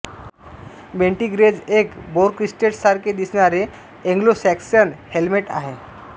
बेंटी Grange एक boar crested सारखे दिसणारे एंग्लोसॅक्सन हेल्मेट आहे